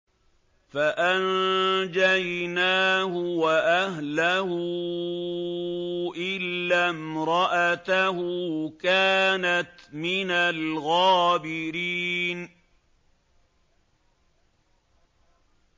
فَأَنجَيْنَاهُ وَأَهْلَهُ إِلَّا امْرَأَتَهُ كَانَتْ مِنَ الْغَابِرِينَ